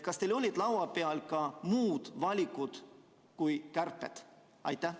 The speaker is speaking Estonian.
Kas teil olid laua peal ka muud valikud kui kärped?